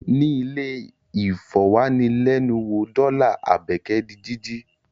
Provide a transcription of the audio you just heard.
Ní ilẹ̀-ìfọ̀wánilẹ́nuwò dọ́là Àbẹ́kẹ́ di jíjí.